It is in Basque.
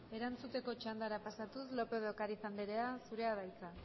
erantzuteko txandara pasatuz lópez de ocariz anderea zurea da hitza